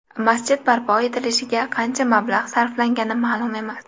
Masjid barpo etilishiga qancha mablag‘ sarflangani ma’lum emas.